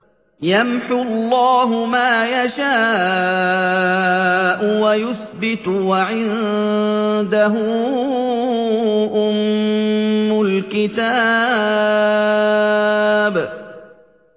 يَمْحُو اللَّهُ مَا يَشَاءُ وَيُثْبِتُ ۖ وَعِندَهُ أُمُّ الْكِتَابِ